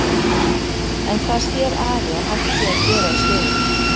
En hvað sér Ari að hægt sé að gera í stöðunni?